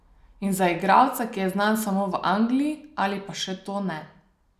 In za igralca, ki je znan samo v Angliji ali pa še to ne.